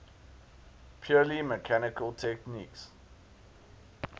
purely mechanical techniques